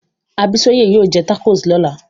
Abisola yóò jẹ tacos lọ́la